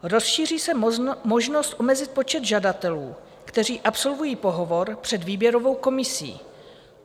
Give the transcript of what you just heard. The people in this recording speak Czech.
Rozšíří se možnost omezit počet žadatelů, kteří absolvují pohovor před výběrovou komisí.